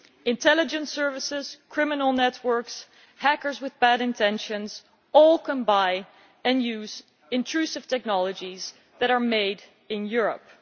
Intelligence services, criminal networks, hackers with bad intentions, all can buy and use intrusive technologies that are made in Europe.